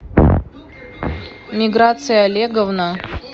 миграция олеговна